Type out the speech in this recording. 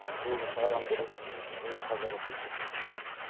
өзі шығарам деп өзі қаза боп кеткен